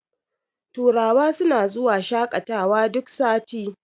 turawa suna zuwa shaƙatawa duk sati